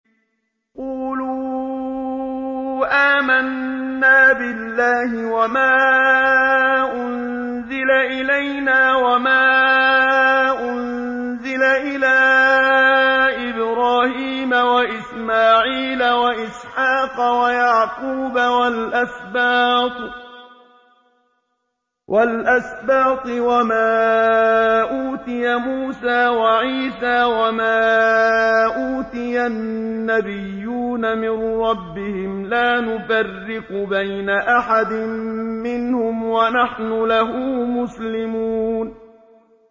قُولُوا آمَنَّا بِاللَّهِ وَمَا أُنزِلَ إِلَيْنَا وَمَا أُنزِلَ إِلَىٰ إِبْرَاهِيمَ وَإِسْمَاعِيلَ وَإِسْحَاقَ وَيَعْقُوبَ وَالْأَسْبَاطِ وَمَا أُوتِيَ مُوسَىٰ وَعِيسَىٰ وَمَا أُوتِيَ النَّبِيُّونَ مِن رَّبِّهِمْ لَا نُفَرِّقُ بَيْنَ أَحَدٍ مِّنْهُمْ وَنَحْنُ لَهُ مُسْلِمُونَ